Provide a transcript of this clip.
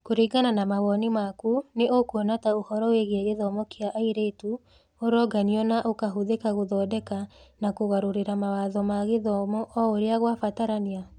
Kũringana na mawoni maku, nĩ ũkuona ta ũhoro wĩgiĩ gĩthomo kĩa airĩtu ũronganio na ũkahũthĩka gũthondeka na kũgarũrĩra mawatho ma gĩthomo o ũrĩa kwabatarania?